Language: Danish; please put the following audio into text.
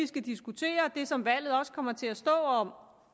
skal diskutere og det som valget også kommer til at stå om